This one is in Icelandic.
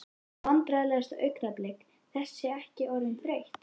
Vandræðalegasta augnablik: Þessi ekki orðin þreytt?